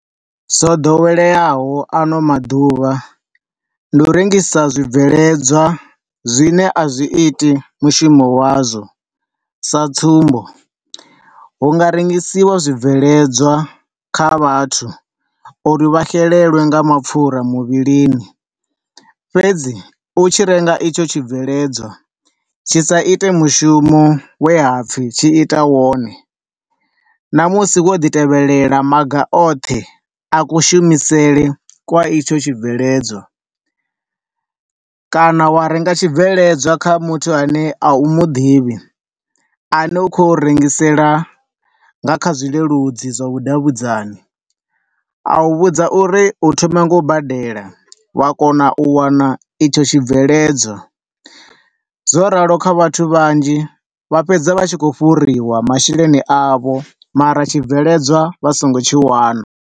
Zwo ḓoweleaho ano maḓuvha ndi u rengisa zwibveledzwa zwine a zwi iti mushumo wazwo, sa tsumbo, hu nga rengisiwa zwibveledzwa kha vhathu uri vha xelelwe nga mapfura muvhilini, fhedzi u tshi renga itsho tshi bveledzwa, tshi sa ite mushumo we hapfi tshi ita wone, na musi wo ḓi tevhelela maga oṱhe a ku shumisele kwa itsho tshi bveledzwa. Kana wa renga tshi bveledzwa kha muthu ane a u muḓivhi, ane a khou rengisela na kha zwileludzi zwavhudavhudzani, a u vhudza uri u thoma nga u badela wa kona u wana itsho tshi bveledzwa. Zwo ralo kha vhathu vhanzhi vha fhedza vha tshi khou fhuriwa masheleni avho, mara tshibveledzwa vha songo tshi wana.